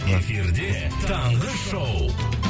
эфирде таңғы шоу